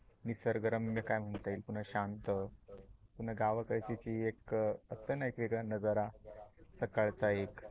निसर्ग रम्य काय म्हणता येईल, पुन्हा शांत गावाकडची एक असते ना वेगळा नजारा सकाळचा एक